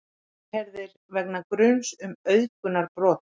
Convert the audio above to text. Yfirheyrðir vegna gruns um auðgunarbrot